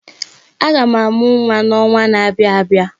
Aga m amụ nwa n'ọnwa na-abịa abịa.